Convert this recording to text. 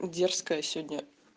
дерзкая сегодня